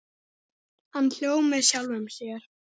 Hann hló með sjálfum sér.